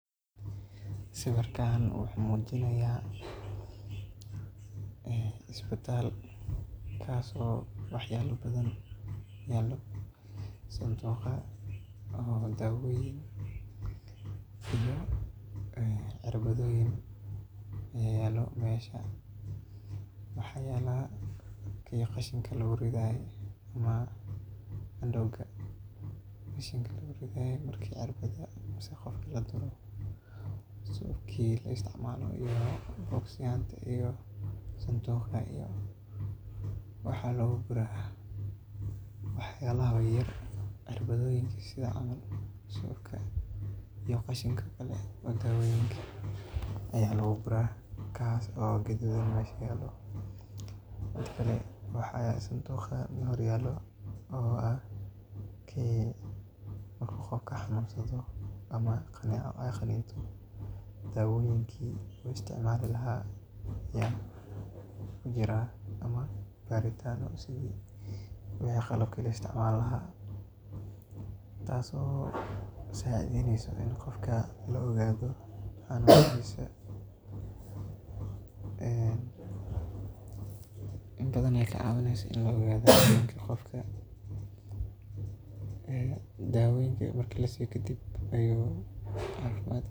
Sawiirkaan wuxuu mujinaaya isbitaal kaas oo wax yaaba badan yaalo, sanduuqya daawoyin, cirbadoyin, yaalo meesha, waxaa yaala kii qashinka lagu ridaaye ama andowga qashinka lagu rido marka qof laduro iyo sanduuqa, wax yaabaha yaryar cirbadaha iyo qashinka kale ee dawoyinkan ayaa lagu guraa, mid kale sanduuqa waxaa hor yaalo kii marka qofka uu xanuunsado ama kaneeca aay qaniinto daawoyiinka uu isticmaali lahaa ayaa kujiraan ama qalabka uu isticmaali laha taas oo qofka kacawineyso in la ogaado cafimaadkiisa .